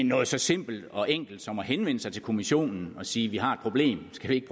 noget så simpelt og enkelt som at henvende sig til kommissionen og sige vi har et problem skal vi ikke